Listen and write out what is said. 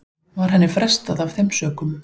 Var henni frestað af þeim sökum